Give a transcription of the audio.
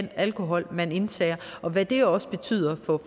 alkohol man indtager og hvad det også betyder